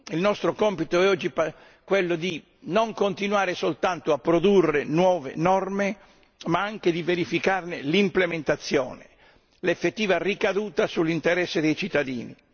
Il nostro compito oggi è quello di non continuare soltanto a produrre nuove norme, ma anche di verificarne l'implementazione, l'effettiva ricaduta sull'interesse dei cittadini.